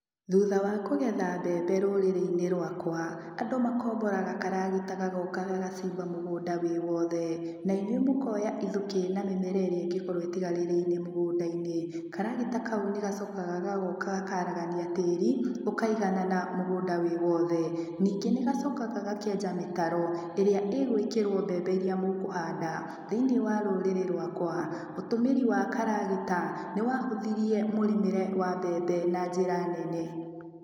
Thutha wa kũgetha mbembe rũrĩrĩ-inĩ rwakwa, andũ makomboraga karagita gagoka gagacimba mũgũnda wĩ wothe, na inyuĩ mũkoya ithukĩ na mĩmera ĩrĩa ĩngĩkorwo ĩtigarĩrĩire mũgũnda-inĩ, karagita kau nĩ gacokaga gagoka gakaragania tĩri, ũkaiganana mũgũnda wĩ wothe. Ningĩ nĩ gacokaga gakenja mĩkaro, ĩrĩa ĩgũĩkĩrwo mbembe iria mũkũhanda. Thĩinĩ wa rũrĩrĩ rwakwa, ũtũmĩri wa karagita, nĩwahũthirie mũrĩmĩre wa mbembe na njĩra nene.